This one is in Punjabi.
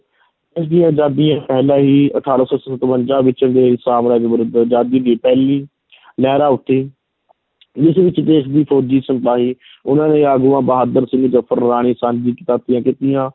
ਦੇਸ਼ ਦੀ ਆਜ਼ਾਦੀ, ਪਹਿਲਾਂ ਹੀ ਅਠਾਰਾਂ ਸੌ ਸਤਵੰਜ਼ਾ ਵਿੱਚ ਅੰਗਰੇਜ਼ ਸਾਮਰਾਜ ਵਿਰੁੱਧ ਆਜ਼ਾਦੀ ਦੀ ਪਹਿਲੀ ਲਹਿਰਾਂ ਉੱਠੀ ਜਿਸ ਵਿੱਚ ਦੇਸ਼ ਦੇ ਫੌਜ਼ੀ ਸਿਪਾਹੀ ਉਨ੍ਹਾਂ ਦੇ ਆਗੂਆਂ ਬਹਾਦਰ ਜ਼ਫਰ, ਰਾਣੀ